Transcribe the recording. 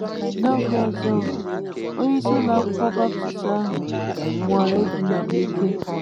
N’oge ọzọ m, onyeisi ụlọ akwụkwọ Baptist ahụ nwara idina m n'ike.